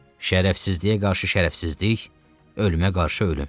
Şərəfsizliyə qarşı şərəfsizlik, ölümə qarşı ölüm.